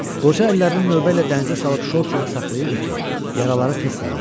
Qoca əllərini növbə ilə dənizə salıb şor suda saxlayırdı ki, yaraları tez sağalsın.